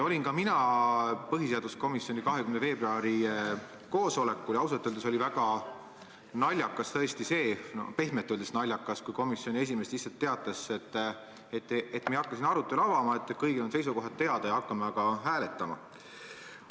Ka mina osalesin põhiseaduskomisjoni 20. veebruari koosolekul ja ausalt öeldes oli tõesti väga naljakas – pehmelt öeldes naljakas – see, kui komisjoni esimees lihtsalt teatas, et me ei hakka siin arutelu avama, kõigil on seisukohad teada ja hakkame aga hääletama.